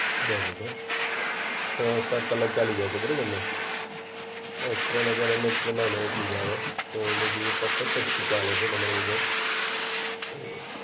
બરોબર છ સાત કલાક ચાલી જાય છે, બરાબરને? અ ત્રણ હજાર એમએચ પ્રમાણે એટલું જ આવે. તો મેયબી એ પરફેક્ટજ ચાલે છે તમારું મોબાઈલ. હમ